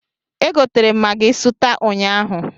E gotere m magị sụta ụnyaahụ.